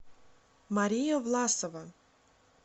мария власова